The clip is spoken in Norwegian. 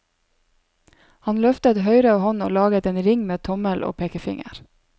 Han løftet høyre hånd og laget en ring med tommel og pekefinger.